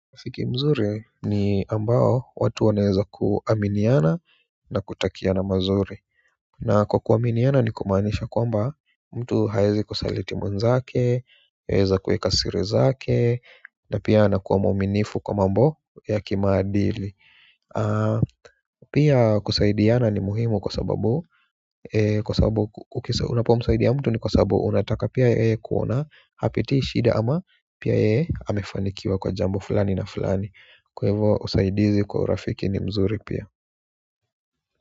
Siki nzuri, ni ambayo watu wanaeza kuaminiana na kutakia na mazuri. Na kwa kuaminiana ni kumanisha kwamba, mtu hawezi kusalitimu mwezake, hueza kueka siri zake, na pia anakuwa mwaminifu kwa mambo ya kimadili. Pia kusaidiana ni muhimu kwa sababu, kwa sababu unapo msaidia mtu ni kwa sababu unataka pia yeye kuona hapitii ishida ama pia yee amefanikiwa kwa jambo fulani na fulani kwa hivo usaidizi kwa urafiki ni mzuri pia.